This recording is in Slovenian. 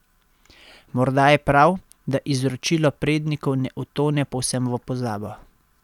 Morda je prav, da izročilo prednikov ne utone povsem v pozabo.